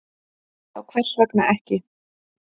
Já, hvers vegna ekki?